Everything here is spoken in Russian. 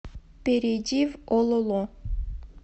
перейди в ололо